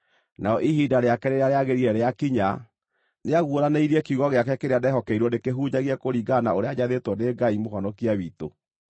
Narĩo ihinda rĩake rĩrĩa rĩagĩrĩire rĩakinya, nĩaguũranĩirie kiugo gĩake kĩrĩa ndehokeirwo ndĩkĩhunjagie kũringana na ũrĩa njathĩtwo nĩ Ngai Mũhonokia witũ,